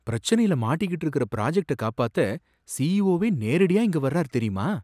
பிரச்சனையில மாட்டிக்கிட்டு இருக்கற ப்ராஜக்ட்ட காப்பாத்த சிஈஓ வே நேரடியா இங்க வர்றார், தெரியுமா